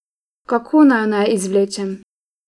Kako naj naju izvlečem?